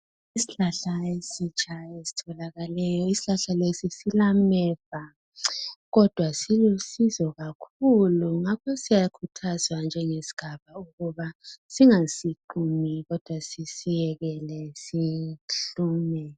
Isihlahla esitsha esitholakaleyo. Isihlahla lesi silameva kodwa silusizo kakhulu ngakho siyakhuthazwa njengesigaba ukuba singasiqumi kodwa sisiyekele sihlume.